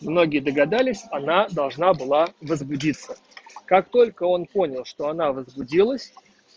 многие догадались она должна была возбудиться как только он понял что она возбудилась